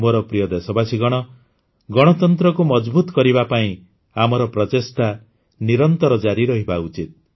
ମୋର ପ୍ରିୟ ଦେଶବାସୀଗଣ ଗଣତନ୍ତ୍ରକୁ ମଜଭୁତ କରିବା ପାଇଁ ଆମର ପ୍ରଚେଷ୍ଟା ନିରନ୍ତର ଜାରି ରହିବା ଉଚିତ